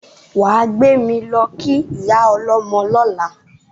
Wà á gbé mi lọ́ kí ìyá ọlọ́mọ lọ́la!